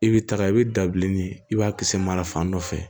I bɛ taga i bɛ dabileni i b'a kisɛ mara fan dɔ fɛ